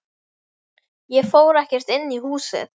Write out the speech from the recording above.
Ég fór ekkert inn í húsið.